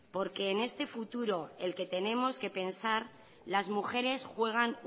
porque en este futuro en el que tenemos que pensar las mujeres juegan